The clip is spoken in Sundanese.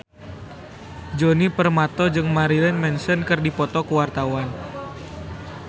Djoni Permato jeung Marilyn Manson keur dipoto ku wartawan